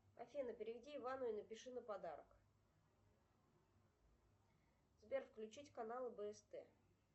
афина переведи ивану и напиши на подарок сбер включить канал бст